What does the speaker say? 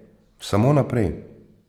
Samo naprej.